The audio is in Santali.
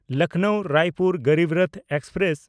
ᱞᱚᱠᱷᱱᱚᱣ–ᱨᱟᱭᱯᱩᱨ ᱜᱚᱨᱤᱵ ᱨᱚᱛᱷ ᱮᱠᱥᱯᱨᱮᱥ